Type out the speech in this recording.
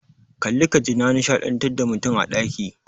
Kalli ka ji na nishadantar da mutum a ɗaki.